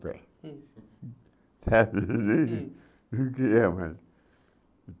o que é?